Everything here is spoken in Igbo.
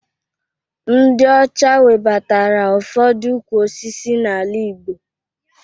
Ndị ọcha webatara ụfọdụ ukwu osisi n'ala Igbo